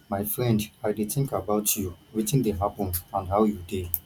my friend i dey think about you wetin dey happen and how you dey